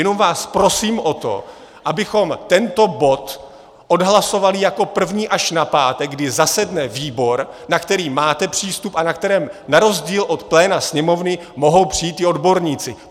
Jenom vás prosím o to, abychom tento bod odhlasovali jako první až na pátek, kdy zasedne výbor, na který máte přístup a na který na rozdíl od pléna Sněmovny mohou přijít i odborníci.